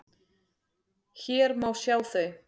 Hér má sjá þau.